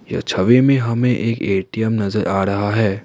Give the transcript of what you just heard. यह छवि में हमें एक ए_टी_एम नजर आ रहा है।